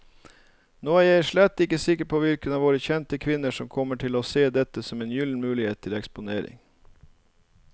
Nå er jeg slett ikke sikker på hvilke av våre kjente kvinner som kommer til å se dette som en gyllen mulighet til eksponering.